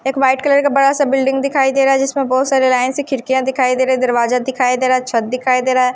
एक white colour का बड़ा-सा बिल्डिंग दिखाई दे रहा हैजिसमें बहुत सारे लाइन से खिड़कियाँ दिखाई दे रही है दरवाजा दिखाई दे रहा है छत दिखाई दे रहा है।